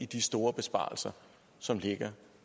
de store besparelser som ligger